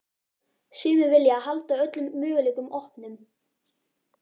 Sumir vilja halda öllum möguleikum opnum.